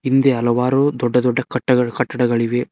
ಹಿಂದೆ ಹಲವಾರು ದೊಡ್ಡ ದೊಡ್ಡ ಕಟ್ಟಗಳು ಕಟ್ಟದಗಳಿವೆ.